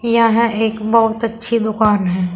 यहां एक बहुत अच्छी दुकान है।